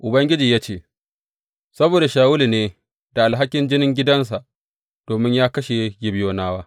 Ubangiji ya ce, Saboda Shawulu ne da alhakin jinin gidansa; domin ya kashe Gibeyonawa.